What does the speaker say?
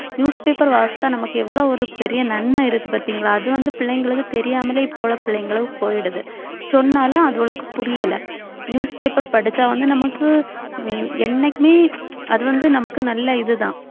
newspaper வாசிச்சா நமக்கு எவ்வளவு ஒரு பெரிய நன்மை இருக்கு பார்த்தீங்களா அது வந்து பிள்ளைங்களுக்கு தெரியாமலே இப்போ உள்ள பிள்ளைங்களுக்கு போயிடுது சொன்னாலும் அதுகளுக்கு புரியல newspaper படிச்சா வந்து நமக்கு உம் என்னைக்குமே அது வந்து நமக்கு நல்ல இதுதான்